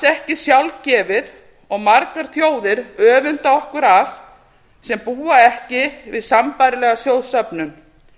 ekki sjálfgefið og margar þjóðir öfunda okkur af sem búa ekki við sambærilega sjóðsöfnun